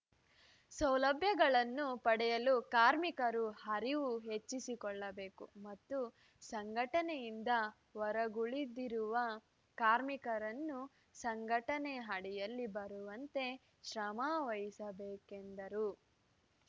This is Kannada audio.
ಸೌಲಭ್ಯಗಳನ್ನು ಪಡೆಯಲು ಕಾರ್ಮಿಕರು ಅರಿವು ಹೆಚ್ಚಿಸಿಕೊಳ್ಳಬೇಕು ಮತ್ತು ಸಂಘಟನೆಯಿಂದ ಹೊರಗುಳಿದಿರುವ ಕಾರ್ಮಿಕರನ್ನು ಸಂಘಟನೆ ಅಡಿಯಲ್ಲಿ ಬರುವಂತೆ ಶ್ರಮ ವಹಿಸಬೇಕು ಎಂದರು